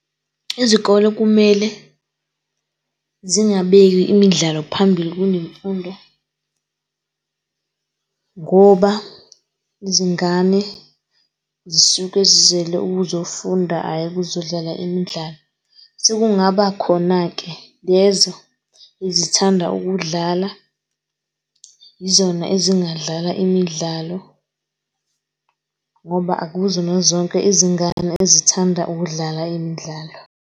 Izikole kumele zingabeki imidlalo phambili kunemfundo , ngoba izingane zisuke zizele ukuzofunda ayi ukuzodlala imidlalo. Sekungaba khona-ke lezo ezithanda ukudlala yizona ezingadlala imidlalo ngoba akuzona zonke izingane ezithanda ukudlala imidlalo.